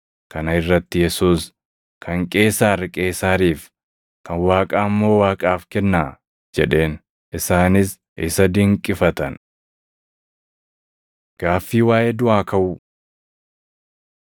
Kana irratti Yesuus, “Kan Qeesaar Qeesaariif, kan Waaqaa immoo Waaqaaf kennaa” jedheen. Isaanis isa dinqifatan. Gaaffii Waaʼee Duʼaa Kaʼuu 12:18‑27 kwf – Mat 22:23‑33; Luq 20:27‑38